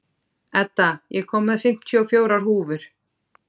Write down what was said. Edda, ég kom með fimmtíu og fjórar húfur!